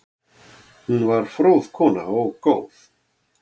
Hún var fróð kona og góð.